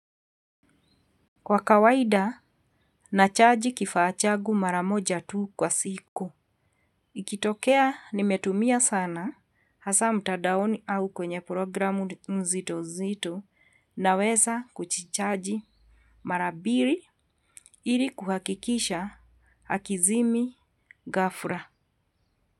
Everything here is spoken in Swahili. Kwa kawaida, nachaji kifaa chagu mara moja tu kwa siku. Ikitokea nimetumia sana, hasa mtadaoni au kwenye programu nzito zito. Naweza kuchichaji mara biri ili kuhakikisha hakizimi ghafla.